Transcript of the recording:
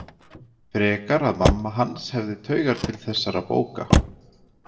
Frekar að mamma hans hefði taugar til þessara bóka.